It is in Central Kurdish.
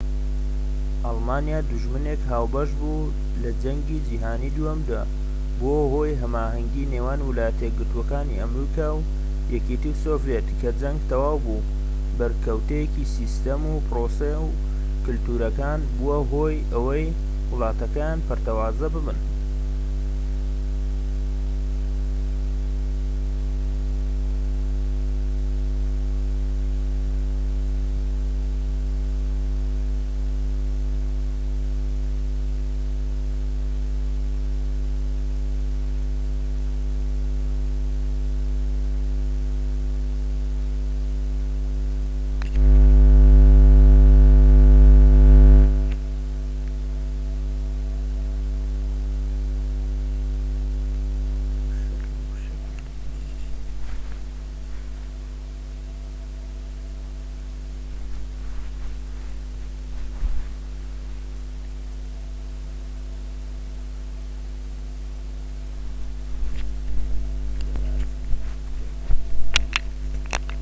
ئەڵمانیا دوژمنێک هاوبەش بوو لە جەنگی جیهانیی دووهەمدا بووە هۆی هەماهەنگی نێوان ویلایەتە یەکگرتوەکانی ئەمریکا و یەکێتی سۆڤیەت کە جەنگ تەواو بوو بەریەککەوتنی سیستەم و پرۆسە و کەلتورەکان بووە هۆی ئەوەی وڵاتەکان پەرتەوازە ببن